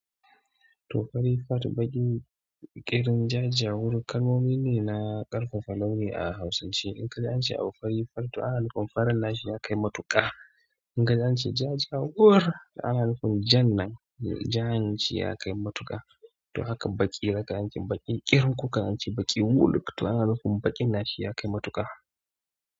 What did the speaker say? To fari fart, baki, green, jajawur, kalmomi ne na ƙarfafa launi a Hausance. In ka ji an ce abu fari fart, toh ana nufin farin nashi ya kai matuƙa. In ka je an ce ja ja wuro, ana nufin ja nan jaanci ya kai matuƙa. To haka baki, daga an ce baki ƙirin, ko ka an ce baki wuluk, to ana nufin baƙin nashi ya kai matuƙa.